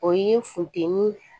O ye funteni